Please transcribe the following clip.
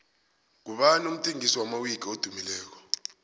ngubani umthengisi wamawiki edumileko